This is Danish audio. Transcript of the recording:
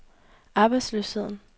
arbejdsløsheden